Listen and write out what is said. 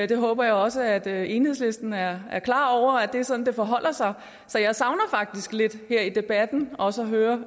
det håber jeg også at enhedslisten er klar over det er sådan det forholder sig så jeg savner faktisk lidt her i debatten også at høre